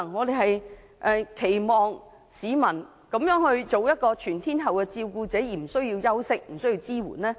照顧者作出全天候的照顧，怎會不需要休息和支援呢？